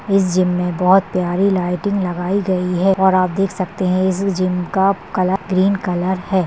इस जिम मे बहुत प्यारी लाईटिंग लगाई गई है और आप देख सकते है इस जिम का कलर ग्रीन कलर है।